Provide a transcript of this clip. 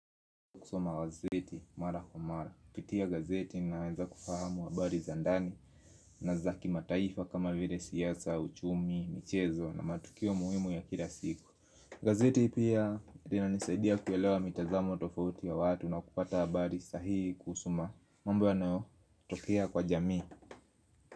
Kusoma gazeti mara kwa mara, kupitia gazeti naweza kufahamu habari za ndani. Na za kimataifa kama vile siasa, uchumi, michezo na matukio muhimu ya kila siku gazeti pia linanisaidia kuelewa mitazamo tofauti ya watu na kupata habari sahihi kuhusu mambo yanayotokea kwa jamii.